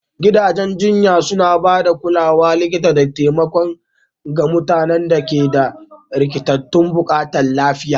gidajen jinya suna ba da kulawar likita da taimako ga mutanen da ke da rikitattun buƙatun lafiya